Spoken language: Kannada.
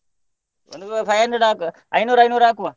ಒಂದು five hundred ಹಾಕು, ಐನೂರು ಐನೂರು ಹಾಕುವ.